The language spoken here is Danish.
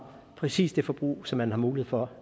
præcis det forbrug som man har mulighed for